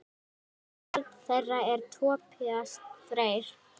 Barn þeirra er Tobías Freyr.